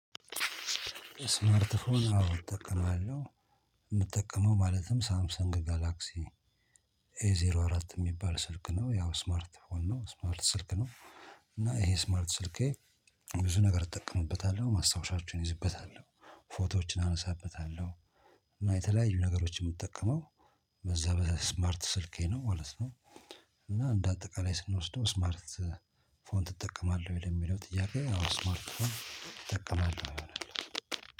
ስማርት ፎን አዎ እጠቀማለሁ የምጠቀመው ማለትም ሳምሰንግ ጋላክሲ ኤ ዜሮ አራት የሚባል ስልክ ነው ያው ስማርት ስልክ ነው ስማርት ስልክ ነው እና ይሄ ስማርት ስልኬ ብዙ ነገር እጠቀምበታለሁ ማስታወሻዎችን ይዝበታለሁ ፎቶዎችን አነሳበታለሁ። እና የተለያዩ ነገሮችን የምጠቀመው በዛ በዛ ስማርት ስልኬ ነው ማለት ነው እና እንደ አጠቃላይ ስንወስደው ስማርት ፎን ትጠቀማለህ ወይ? ለሚለው ጥያቄ ስማርት ፎን እጠቀማለሁ። ይሆናል